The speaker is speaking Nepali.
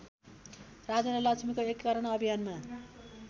राजेन्द्रलक्ष्मीको एकीकरण अभियानमा